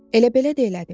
Elə belə də elədim.